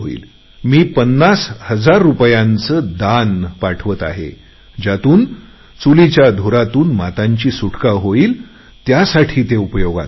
मी पन्नास हजार रुपयांचे देणगी पाठवत आहे ज्यातून चुलीच्या धुरातून गरीब मातांची सुटका होईल त्यासाठी ते उपयोगात आणावे